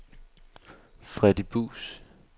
Freddy Buus